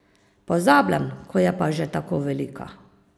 Pozabljam, ko je pa že tako velika.